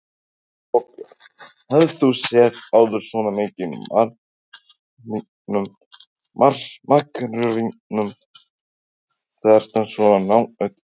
Þorbjörn: Hefur þú séð áður svona mikið af makrílnum hérna svona nálægt okkur?